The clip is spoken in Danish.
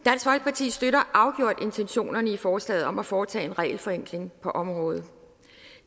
støtter afgjort intentionerne i forslaget om at foretage en regelforenkling på området